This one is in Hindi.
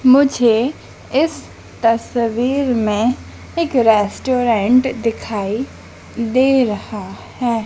मुझे इस तस्वीर में एक रेस्टोरेंट दिखाई दे रहा है।